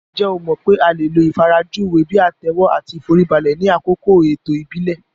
Ǹjẹ́ o mọ̀ pé a lè lo ìfarajúwe bíi àtẹ́wọ́ àti ìforíbalẹ̀ ni àkókò ètò ìbílẹ̀